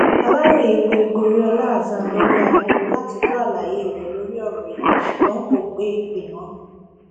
aláròye pé goriola hasan lórí aago láti gbọ àlàyé rẹ lórí ọrọ yìí ṣùgbọn kò gbé ìpè náà